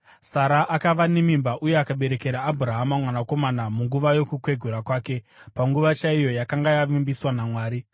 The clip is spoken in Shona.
Sara akava nemimba uye akaberekera Abhurahama mwanakomana munguva yokukwegura kwake, panguva chaiyo yakanga yavimbiswa naMwari.